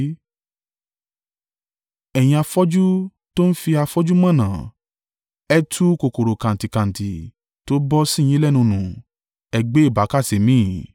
Ẹ̀yin afọ́jú tó ń fi afọ́jú mọ̀nà! Ẹ tu kòkòrò-kantíkantí tó bọ́ sì yín lẹ́nu nù, ẹ gbé ìbákasẹ mì.